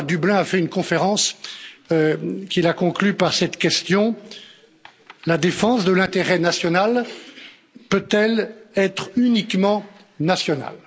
Un jour, à Dublin, il a fait une conférence qu'il a conclue par cette question la défense de l'intérêt national peut elle être uniquement nationale?